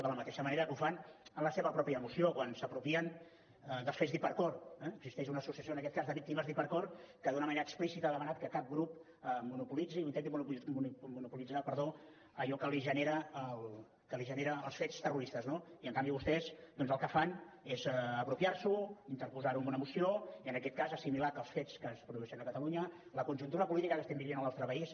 de la mateixa manera que ho fan en la seva moció quan s’apropien dels fets d’hipercor eh existeix una associació en aquest cas de víctimes d’hipercor que d’una manera explícita ha demanat que cap grup monopolitzi o intenti monopolitzar allò que li genera els fets terroristes no i en canvi vostès doncs el que fan és apropiar s’ho interposar ho en una moció i en aquest cas assimilar que els fets que es produeixen a catalunya la conjuntura política que estem vivint al nostre país